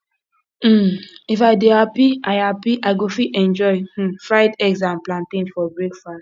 um if i dey happy i happy i go fit enjoy um fried eggs and plantain for breakfast